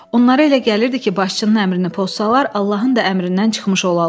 Onlara elə gəlirdi ki, başçının əmrini pozsalar, Allahın da əmrindən çıxmış olarlar.